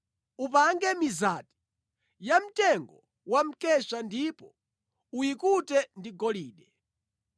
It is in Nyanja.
Upange mizati yamtengo wa mkesha ndipo uyikute ndi golide.